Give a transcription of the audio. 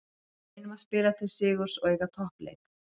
Við reynum að spila til sigurs og eiga toppleik.